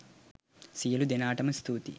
සියළු දෙනාටම ස්තුතියි